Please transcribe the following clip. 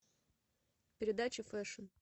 передача фэшн